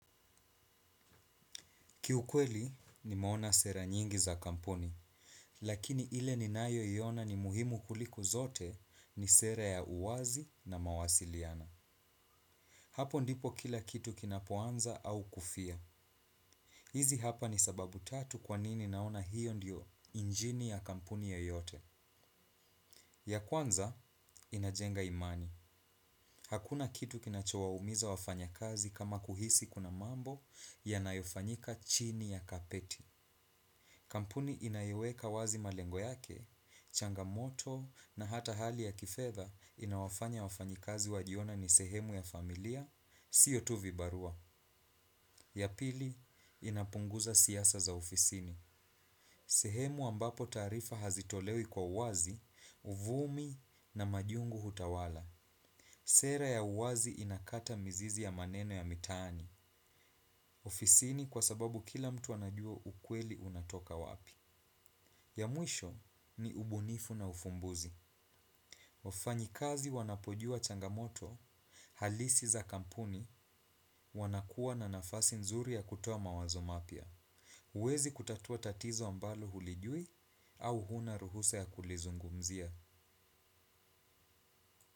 Kiukweli nimeona sera nyingi za kampuni, lakini ile ninayoiona ni muhimu kuliko zote ni sera ya uwazi na mawasiliano. Hapo ndipo kila kitu kinapoanza au kufia. Hizi hapa ni sababu tatu kwa nini naona hiyo ndiyo injini ya kampuni yoyote. Ya kwanza, inajenga imani. Hakuna kitu kinachowaumiza wafanya kazi kama kuhisi kuna mambo yanayofanyika chini ya kapeti. Kampuni inayoweka wazi malengo yake, changamoto na hata hali ya kifedha inawafanya wafanyikazi wajione ni sehemu ya familia, sio tu vibarua. Ya pili inapunguza siasa za ofisini. Sehemu ambapo taarifa hazitolewi kwa uwazi, uvumi na majungu hutawala. Sera ya uwazi inakata mizizi ya maneno ya mitaani. Ofisini kwa sababu kila mtu anajua ukweli unatoka wapi. Ya mwisho ni ubunifu na ufumbuzi. Wafanyikazi wanapojua changamoto halisi za kampuni wanakuwa na nafasi nzuri ya kutoa mawazo mapya. Huwezi kutatua tatizo ambalo hulijui au huna ruhusa ya kulizungumzia.